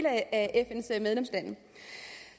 af fns medlemslande